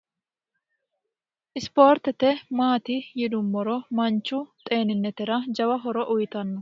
isipoortete maati yidummoro manchu xeeninetera jawa horo uyitanno